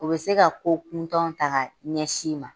U be se ka ko kuntanw ta ka ɲɛsin i ma.